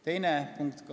Teine punkt ...